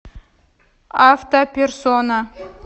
автоперсона